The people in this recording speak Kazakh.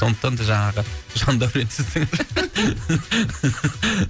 сондықтан да жаңағы ешқандай